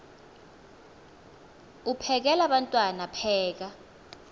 uphekel abantwana pheka